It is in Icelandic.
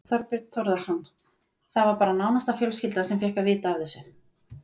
Þorbjörn Þórðarson: Það var bara nánasta fjölskylda sem fékk að vita af þessu?